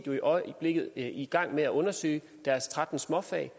i øjeblikket i gang med at undersøge deres tretten småfag